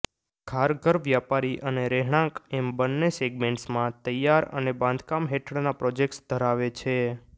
ખારઘર વ્યાપારી અને રહેણાંક એમ બંને સેગમેન્ટમાં તૈયાર અને બાંધકામ હેઠળના પ્રોજેક્ટ્સ ધરાવે છે